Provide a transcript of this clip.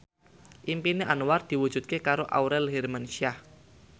impine Anwar diwujudke karo Aurel Hermansyah